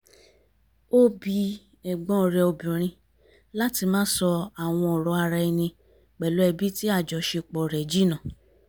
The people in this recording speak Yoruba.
ó bi ẹ̀gbọ́n rẹ̀ obìnrin láti má sọ àwọn ọ̀rọ̀ ara ẹni pẹ̀lú ẹbí tí àjọṣepọ̀ rẹ̀ jìnnà